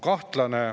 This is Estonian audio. Kahtlane.